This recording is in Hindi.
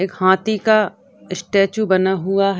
एक हाथी का स्टेचू बना हुआ है।